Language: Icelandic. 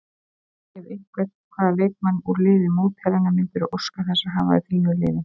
Ef einhvern, hvaða leikmann úr liði mótherjanna myndirðu óska þess að hafa í þínu liði?